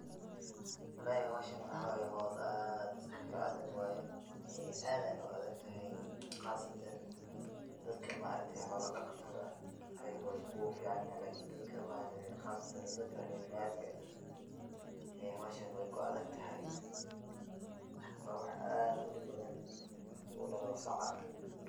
Walahi howshan howl aad u adag waye, aad ayeey na u adag tahay, qaasatan dadka xoola daqatada ayaga waay ku fican yihiin, lakin qaasatan dadka reer magaalka ah, howshan weey ku adag tahay, waa wax aad udib badan marka uu dalo saca.